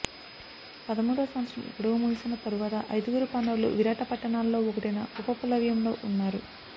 పదమూడవ సంవత్సరం గడువు ముగిసిన తరువాత ఐదుగురు పాండవులు విరాట పట్టణాలలో ఒకటైన ఉపప్లవ్యంలో ఉన్నారు